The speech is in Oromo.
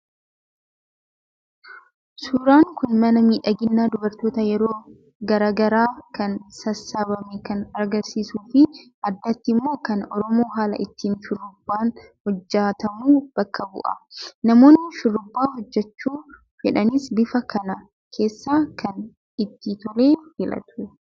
Suuraan kun mana miidhaginaa dubartootaa yeroo garaagaraa kan sassaabame kan agarsiisuu fi addatti immoo kan oromoo haala ittiin shurrubbaan hojjatamu bakka bu'a. Namoonni shurrubbaa hojjatachuu fedhanis bifa kana keessaa kan itti tole filatu.